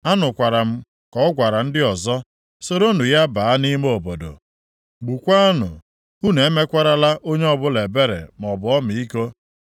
Anụkwara m ka ọ gwara ndị ọzọ, “Soronụ ya baa nʼime obodo, gbukwaanụ, unu emekwarala onye ọbụla ebere maọbụ ọmịiko.